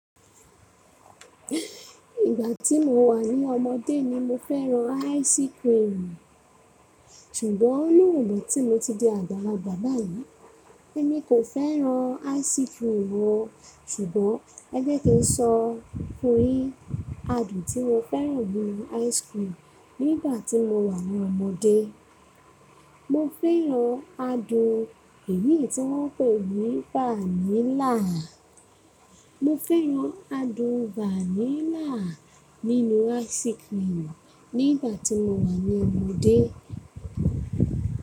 Ìgbà tí mo wà ní ọmọdé ni mo fẹ́ran ice cream, ṣùgbọ́n lónìí tí mo ti di àgbàlagbà báyìí, èmi kò fẹ́ran ice cream o. Ṣùgbọ́n ẹ jẹ́ kí n sọ fun yi, adùn tí mo fẹ́ran nínú ice cream nígbà tí mo wà ní ọmọdé. Mo fẹ́ran adùn èyí tí wọ́n pè ní vanilla. Mo fẹ́ran adùn vanilla nínú ice cream nígbà tí mo wà ní ọmọdé.